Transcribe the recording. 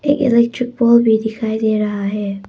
एक electric pole भी दिखाई दे रहा है।